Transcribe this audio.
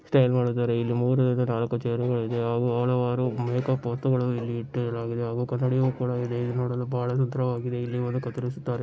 Style ಮಾಡಿದ್ದಾರೆ-- ಇಲ್ಲಿ ಮೂರರಿಂದ ನಾಲ್ಕು ಚೇರುಗಳಿವೆ . ಆಗು ಅಲವಾರು ಮೇಕಪ್ ವಸ್ತುಗಳು ಇಲ್ಲಿ ಇಟ್ಟಿರಲಾಗಿದೆ ಹಾಗು ಕನ್ನಡಿಯೂ ಕೂಡಾ ಇದೆ. ಇದು ನೋಡಲು ಬಹಳ ಸುಂದರವಾಗಿದೇ ಇಲ್ಲಿ ಬಂದು ಕತ್ತರಿಸುತ್ತಾರೆ